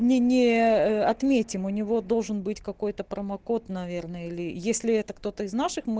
мне не отметим у него должен быть какой-то промокод наверное или если это кто-то из наших мы